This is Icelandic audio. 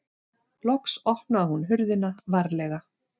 Loks opnaði hún hurðina varlega.